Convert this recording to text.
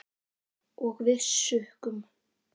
Og við sukkum.